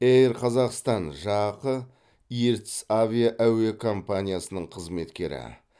эйр қазақстан жақ ертіс авиа әуе компаниясының қызметкері